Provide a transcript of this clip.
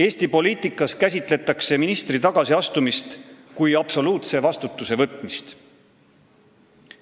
Eesti poliitikas käsitletakse ministri tagasiastumist kui absoluutse vastutuse võtmist.